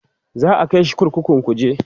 za'a kaishi kurkukun kuje